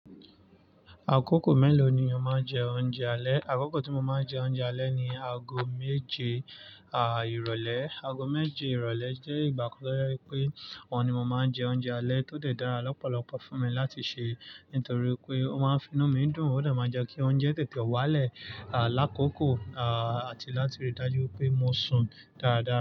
Àkókò mélòó ni o máa ń jẹ oúnjẹ alẹ́? Àkókò tí mo máa ń jẹ oúnjẹ alẹ́ ni ago méje, à, ìrọ̀lẹ́. Ago méje ìrọ̀lẹ́ jẹ́ ìgbà kan tó je pé òun ni mo máa ń jẹ oúnjẹ alẹ́ tó de dára lọ́pọ̀lọpọ̀ fún mi láti ṣe, nítorí pé ó máa ń fi inú mi dùn, ó lè máa n jẹ́ kí oúnjẹ tètè wálẹ̀, à, lákòókò, à, àti láti rí i dájú pé mo sùn dáadáa.